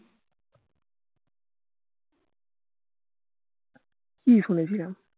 কি শুনেছিলাম